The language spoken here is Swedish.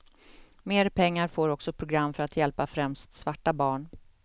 Mer pengar får också program för att hjälpa främst svarta barn.